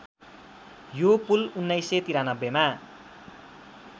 यो पुल १९९३ मा